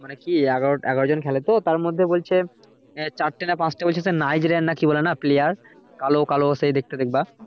মানে কি এগারো জন খেলে তো তার মধ্যে চারটে না পাঁচটে বলছে না Naigerian না কি বলে না player কালো কালো সেই দেখতে দেখবা